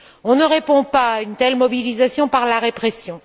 On ne répond pas à une telle mobilisation par la répression.